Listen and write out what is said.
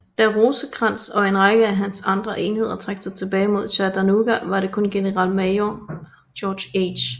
Da Rosecrans og en række af hans andre enheder trak sig tilbage mod Chattanooga var det kun generalmajor George H